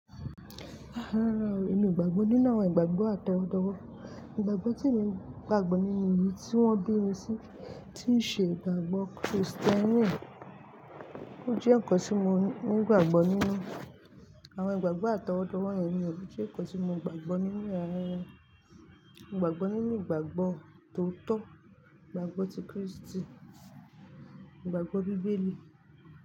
Rárá, èmi ò gbàgbọ́ nínú àwọn ìgbàgbọ́ àtọwọ́dọ́wọ́. Ìgbàgbọ́ tí èmi gbàgbọ́ nínú ni èyí tí wọ́n bí mi sí, tí í ṣe ìgbàgbọ́ Kristẹni. Ó jẹ́ ǹkan tí mo ń gbàgbọ́ nínú. Àwọn ìgbàgbọ́ àtọwọ́dọ́wọ́ yẹn ni kò jẹ́ ǹkan tí mo gbàgbọ́ nínú rara rara. Mo gbàgbọ́ nínú ìgbàgbọ́ tóotọ́, ìgbàgbọ́ ti Kristi, ìgbàgbọ́ Bíbélì.